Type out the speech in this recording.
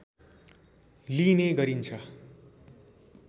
लिइने गरिन्छ